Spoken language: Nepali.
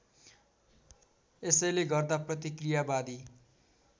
यसैले गर्दा प्रतिक्रियावादी